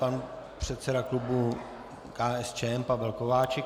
Pan předseda klubu KSČM Pavel Kováčik.